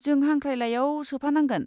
जों हांख्रायलाइयाव सोफानांगोन।